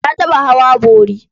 Na taɓa hawa bori.